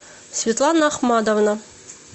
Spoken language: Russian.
светлана ахмадовна